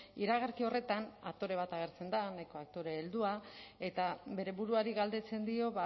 iragarki horretan aktore bat agertzen da nahiko aktore heldua eta bere buruari galdetzen dio